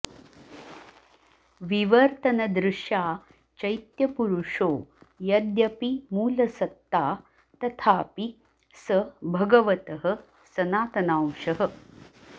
विवर्तनदृशा चैत्यपुरुषो यद्यपि मूलसत्ता तथापि स भगवतः सनातनांशः